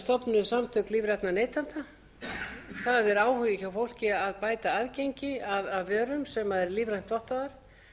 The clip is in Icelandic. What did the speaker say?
stofnuð samtök lífrænna neytenda það er áhugi hjá fólki að bæta aðgengi að vörum sem eru lífrænt vottaðar